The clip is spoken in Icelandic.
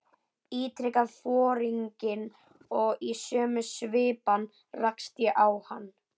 ítrekaði foringinn og í sömu svipan rakst ég á hann.